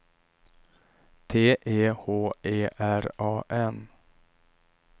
T E H E R A N